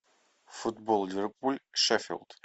футбол ливерпуль шеффилд